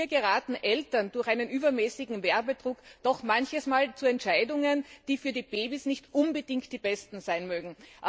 Und hier gelangen Eltern durch einen übermäßigen Werbedruck doch manches Mal zu Entscheidungen, die für die Babys nicht unbedingt die besten sein mögen.